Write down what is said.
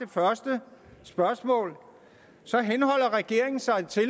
første spørgsmål så henholder regeringen sig til